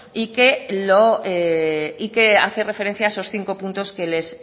y que hace referencia a esos cinco puntos que les